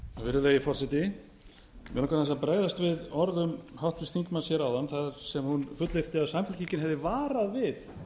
aðeins að bregðast við orðum háttvirts þingmanns hér áðan þar sem hún fullyrti að samfylkingin hefði varað við